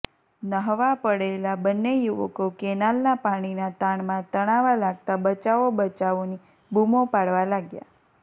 ન્હાવા પડેલા બંને યુવકો કેનાલના પાણીના તાણમાં તણાવા લાગતા બચાવો બચાવોની બુમો પાડવા લાગ્યા